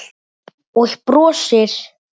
Og brosir.